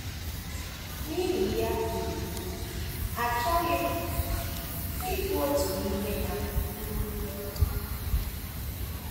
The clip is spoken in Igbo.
N’ihi ya, um achọghị m ịbụ otu n’ime ha! um